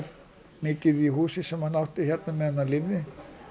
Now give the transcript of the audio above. mikið í húsi hér sem hann átti hérna á meðan hann lifði